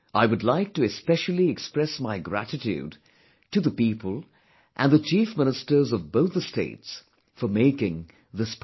I would like to especially express my gratitude to the people and the Chief Ministers of both the states for making this possible